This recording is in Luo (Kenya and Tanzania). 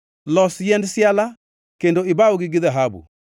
Los yiend siala kendo ibawgi gi dhahabu.